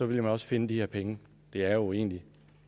ville man også finde de her penge det er jo egentlig